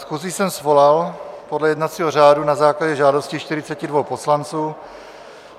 Schůzi jsem svolal podle jednací řádu na základě žádosti 42 poslanců.